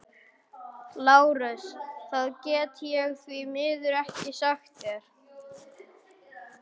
LÁRUS: Það get ég því miður ekki sagt þér.